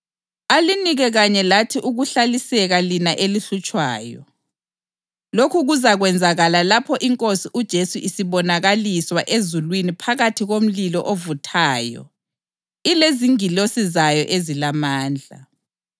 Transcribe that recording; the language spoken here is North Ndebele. Konke lokhu kuyibufakazi bokuthi ukwahlulela kukaNkulunkulu kulungile njalo lizabalwa njengabafanele umbuso kaNkulunkulu eliwuhluphekelayo.